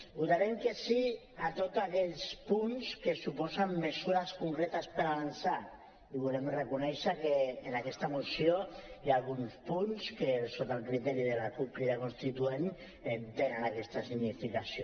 votarem que sí a tots aquells punts que suposen mesures concretes per avançar i volem reconèixer que en aquesta moció hi ha alguns punts que sota el criteri de la cup crida constituent tenen aquesta significació